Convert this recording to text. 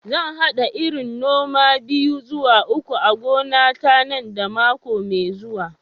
Zan hada irin noma biyu zuwa uku a gonata nan da mako mai zuwa.